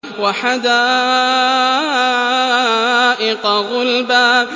وَحَدَائِقَ غُلْبًا